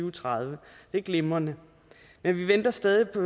og tredive det er glimrende men vi venter stadig på